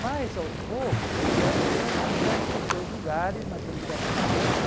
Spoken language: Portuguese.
Mas, aos poucos, as pedras vão voltando para os seus lugares naquele quebra-cabeça.